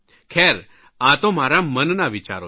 ખેર આ તો મારા મનના વિચારો છે